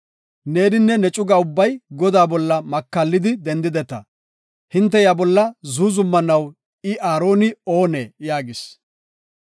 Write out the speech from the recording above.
Neeninne ne cuga ubbay Godaa bolla makallidi dendideta; hinte iya bolla zuuzumanaw I Aaroni oonee?” yaagis.